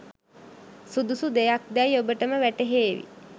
සුදුසු දෙයක්දැයි ඔබටම වැටහේවි.